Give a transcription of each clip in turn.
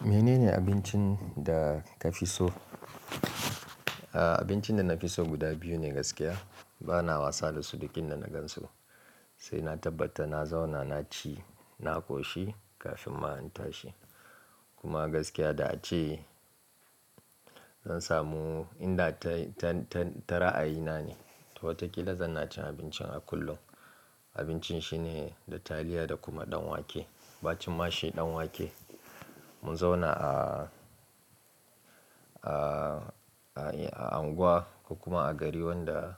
Menene abincin da ka fi so? Aaa, abincin da na fi so guda biyu ne gaskiya. Bana wasa da su duk inda na gan su, sai na tabbata na zauna, na ci, na ƙoshi kafin ma in tashi. Kuma gaskiya da ace zan samu inda ta, ta, ta, ta ra'ayina ne. To watakila zan na cin abincin a kullum. Abincin shi ne da taliya da kuma ɗan wake. Ba cin mashi ɗan wake. Mun zauna a, a, a, a unguwa kuma a gari wanda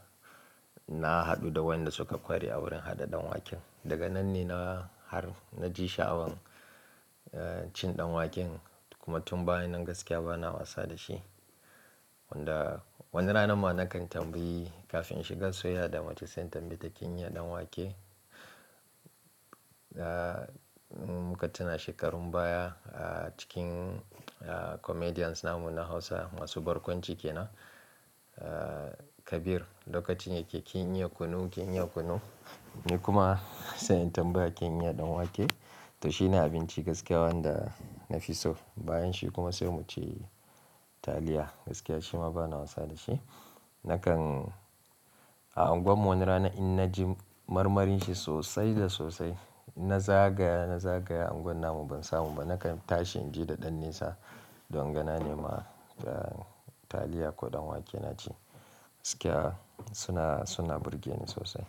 na haɗu da wayanda suka ƙware a wurin haɗa ɗan waken. Daga nan ne na har na ji sha'awan, eh, cin ɗan waken kuma tun bayan nan gaskiya bana wasa da shi. Wanda wani rana ma na kan tambayi kafin shiga soyayya da mace sai tambaye ta kin iya ɗan wake? Eh, in muka tuna shekarun baya, a cikin, a comedians namu na Hausa masu barkwanci kenan, eh, Kabir lokacin yake kin iya kunu, kin iya kunu? Ni kuma sai in tambaye kin iya ɗan wake? To shi ne abinci gaskiya wanda na fi so. Bayan shi kuma sai mu ci taliya gaskiya shima bana wasa da shi. Nakan a unguwar mu wani rana in na ji marmarin shi sosai da sosai, na zagaya, na zagaya unguwar namu ban samu ba, na kan tashi in je da ɗan nesa don ganane ma taliya ko ɗan wake na ci. Gaskiya suna, suna burge ni sosai.